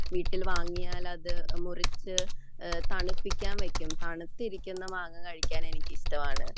വീട്ടിൽ വാങ്ങിയാൽ അത് തണുപ്പിക്കാൻ വെക്കും തണുത്തിരിക്കുന്ന മാങ്ങാ കഴിക്കാൻ എനിക്ക് ഇഷ്ടമാണ്